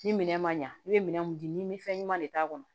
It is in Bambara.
Ni minɛn ma ɲa i bɛ minɛn mun di min fɛn ɲuman de t'a kɔnɔ